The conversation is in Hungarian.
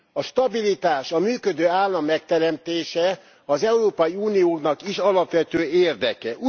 A stabilitás, a működő állam megteremtése az Európai Uniónak is alapvető érdeke.